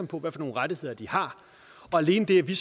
på hvilke rettigheder de har alene det at vi